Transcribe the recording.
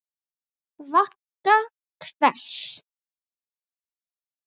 Vagga hvers?